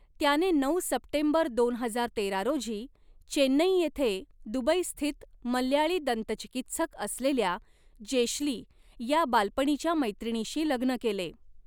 त्याने नऊ सप्टेंबर दोन हजार तेरा रोजी चेन्नई येथे दुबईस्थित मल्याळी दंतचिकित्सक असलेल्या जेश्ली या बालपणीच्या मैत्रिणीशी लग्न केले.